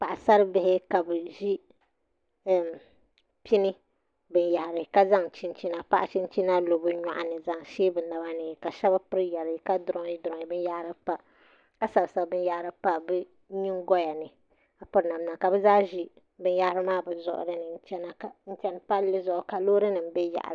Paɣasaribihi ka bi ʒi pini binyahari ka zaŋ paɣa chinchina lo bi nyoɣani n shee bi naba ni ka shab piri yɛri ka durooyi durooyi binyahari pa ka sabi sabi binyahari pa bi nyingoya ni ka piri namda ka bi zaa ʒi binyɛra n chɛni palli zuɣu ka loori nim bɛ yaɣali